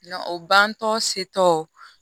Na o bantɔ setɔ